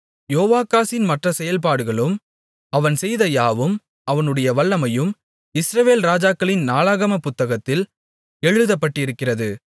யோவாகாசின் மற்ற செயல்பாடுகளும் அவன் செய்த யாவும் அவனுடைய வல்லமையும் இஸ்ரவேல் ராஜாக்களின் நாளாகமப் புத்தகத்தில் எழுதப்பட்டிருக்கிறது